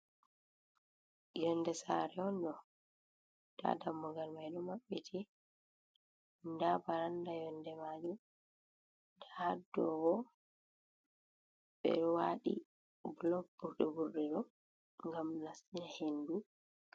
Yolnde sare on ɗo nda dammugal mai ɗo mabbiti, nda baranda yolnde majum, nda hadow ɓeɗo waɗi bulok burɗe ɓurɗe ngam nastina henndu.